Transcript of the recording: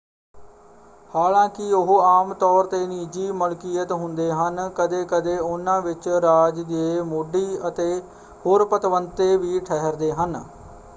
ਹਾਲਾਂਕਿ ਉਹ ਆਮ ਤੌਰ 'ਤੇ ਨਿੱਜੀ ਮਲਕੀਅਤ ਹੁੰਦੇ ਹਨ ਕਦੇ ਕਦੇ ਉਹਨਾਂ ਵਿੱਚ ਰਾਜ ਦੇ ਮੋਢੀ ਅਤੇ ਹੋਰ ਪਤਵੰਤੇ ਵੀ ਠਹਿਰਦੇ ਹਨ।